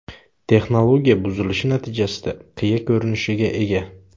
Texnologiya buzilishi natijasida qiya ko‘rinishga ega.